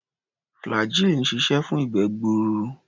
Flagggyl ń ṣiṣẹ́ fún ìgbé-gbuur.